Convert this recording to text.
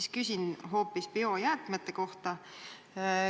Aga küsin nüüd hoopis biojäätmete kohta.